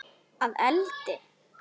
Að eldi?